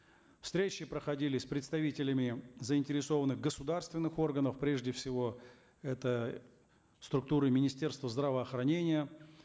встречи проходили с представителями заинтересованных государственных органов прежде всего это структуры министерства здравоохранения